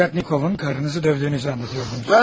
Bay Lavyatnikovun karınızı dövdüyünü anlatıyordunuz.